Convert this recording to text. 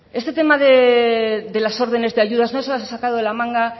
este tema de las órdenes de ayudas no se las ha sacado de la manga